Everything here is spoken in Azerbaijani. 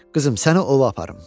Qızım, səni ova aparım.